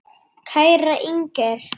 Kæra Inger.